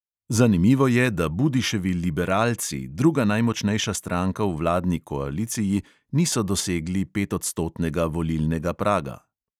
Zanimivo je, da budiševi liberalci, druga najmočnejša stranka v vladni koaliciji, niso dosegli petodstotnega volilnega praga.